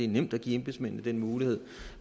nemt at give embedsmændene den mulighed